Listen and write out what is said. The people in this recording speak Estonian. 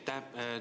Aitäh!